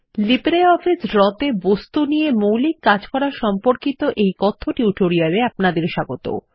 LibreOffice draw তে বস্তু নিয়ে মৌলিক কাজ করা সম্পর্কিত এই কথ্য টিউটোরিয়াল এ আপনাদের স্বাগত